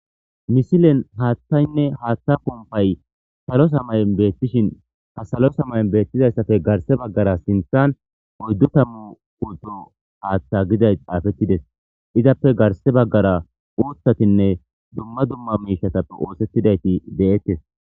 Misilen haaththayne haaththa puupay salota mayon beetishin ha salota mayo beetizayssape garse baggara sinththan oyddu tammu pulto haaththa gizay xaafetides izappe garsse baggara guuththatine dumma dumma miishetappe oothetidayti de'etes.